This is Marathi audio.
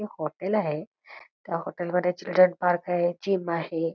ते हॉटेल आहे त्या हॉटेलमध्ये चिल्ड्रेन पार्क आहे जिम आहे|